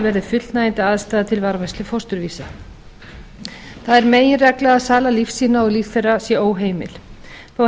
sé fullnægjandi aðstaða til varðveislu fósturvísa það er meginregla að sala lífsýna og líffæra er óheimil